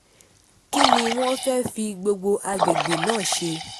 kín ni wọ́n fẹ́ẹ́ fi gbogbo àgbègbè náà ṣe